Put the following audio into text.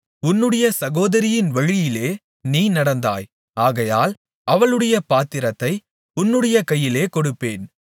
உன்னுடைய சகோதரியின் வழியிலே நீ நடந்தாய் ஆகையால் அவளுடைய பாத்திரத்தை உன்னுடைய கையிலே கொடுப்பேன்